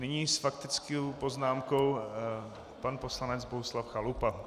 Nyní s faktickou poznámkou pan poslanec Bohuslav Chalupa.